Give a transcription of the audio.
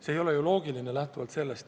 See ei ole ju loogiline.